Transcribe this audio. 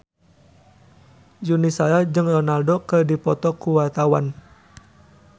Yuni Shara jeung Ronaldo keur dipoto ku wartawan